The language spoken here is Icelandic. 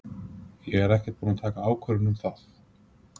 Ég er ekkert búin að taka ákvörðun um það.